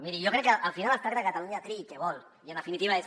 miri jo crec que al final es tracta de que catalunya triï què vol i en definitiva és